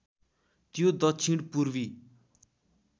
त्यो दक्षिण पूर्वी